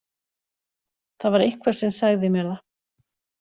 Það var eitthvað sem sagði mér það.